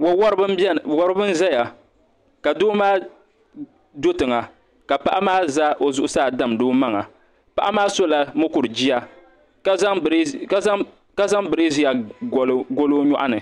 Wawariba m-beni n-zaya ka doo maa do tiŋa ka paɣa maa za o zuɣusaa n-damdi o maŋa paɣa maa sola mukur' jia ka zaŋ birizia gɔli o nyɔɣu ni